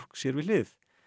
sér við hlið